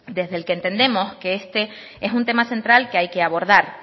desde el que entendemos que este es un tema central que hay que abordar